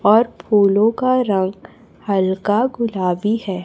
और फूलों का रंग हल्का गुलाबी है।